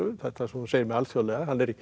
þetta sem þú segir með alþjóðlega